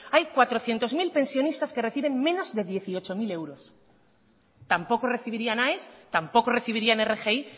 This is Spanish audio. hay cuatrocientos mil pensionistas que reciben menos de dieciocho mil euros tampoco recibirían aes tampoco recibirían rgi